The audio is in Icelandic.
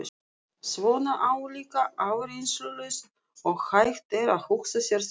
Svona álíka áreynslulaust og hægt er að hugsa sér það.